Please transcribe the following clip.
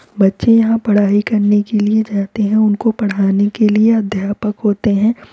बच्चे यहाँ पढ़ाई करने के लिए जाते हैं उनको पढ़ाने के लिए अध्यापक होते हैं।